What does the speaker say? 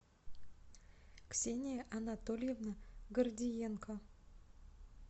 ксения анатольевна гордиенко